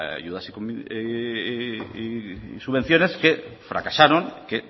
ayudas y subvenciones que fracasaron que